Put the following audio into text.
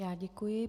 Já děkuji.